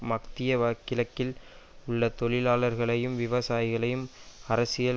மத்திய கிழக்கில் உள்ள தொழிலாளர்களையும் விவசாயிகளையும் அரசியல்